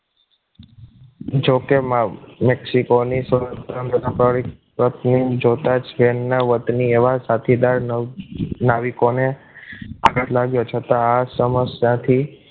જોકે મા મેક્સિકોના સંઘ સ્વાભાવિક પત્નીને જોતા જ તેમના વતની સાથીદાર નાવીકોને આઘાત લાગ્યો છતાં આ સમસ્યાથી